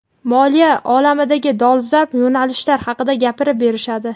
moliya olamidagi dolzarb yo‘nalishlar haqida gapirib berishadi.